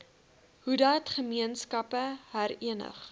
hoedat gemeenskappe herenig